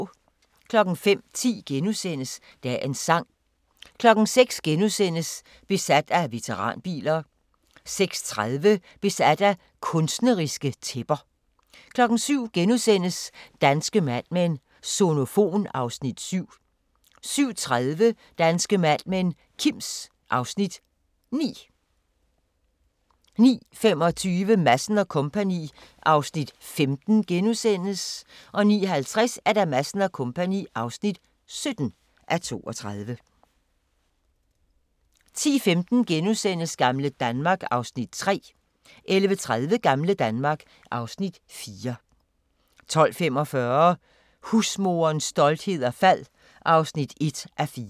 05:10: Dagens sang * 06:00: Besat af veteranbiler * 06:30: Besat af kunstneriske tæpper 07:00: Danske Mad Men: Sonofon (Afs. 7)* 07:30: Danske Mad Men: Kims (Afs. 9) 09:25: Madsen & Co. (15:32)* 09:50: Madsen & Co. (17:32) 10:15: Gamle Danmark (Afs. 3)* 11:30: Gamle Danmark (Afs. 4) 12:45: Husmoderens storhed og fald (1:4)